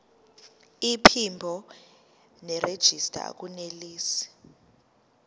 iphimbo nerejista akunelisi